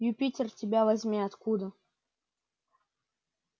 юпитер тебя возьми откуда